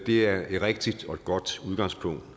det er et rigtigt og godt udgangspunkt